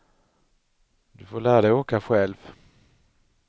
Du får lära dig åka själv.